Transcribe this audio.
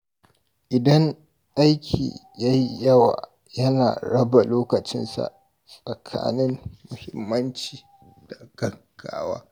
Idan aiki ya yi yawa, yana raba lokacinsa tsakanin muhimmanci da gaggawa.